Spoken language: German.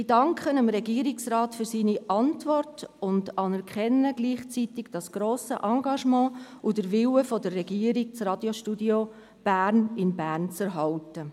– Ich danke dem Regierungsrat für seine Antwort und anerkenne gleichzeitig das grosse Engagement und den Willen der Regierung, das Radiostudio Bern in Bern zu erhalten.